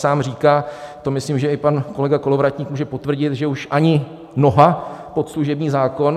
Sám říká, to myslím, že i pan kolega Kolovratník může potvrdit, že už ani noha pod služební zákon.